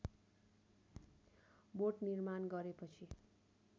बोट निर्माण गरेपछि